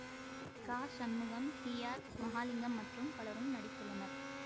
க Shanmugam T R Mahalingam மற்றும் பலரும் நடித்துள்ளனர்